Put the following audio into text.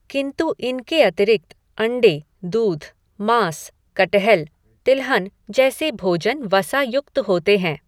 किंतु इनके अतिरिक्त अण्डे, दूध, माँस, कट्हल, तिलहन जैसे भोजन वसा युक्त होते हैं।